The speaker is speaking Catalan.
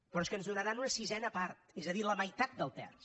però és que ens donaran una sisena part és a dir la meitat del terç